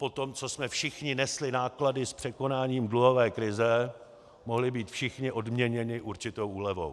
Po tom, co jsme všichni nesli náklady s překonáním dluhové krize, mohli být všichni odměněni určitou úlevou.